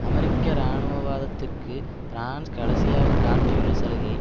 அமெரிக்க இராணுவவாதத்திற்கு பிரான்ஸ் கடைசியாக காட்டியுள்ள சலுகை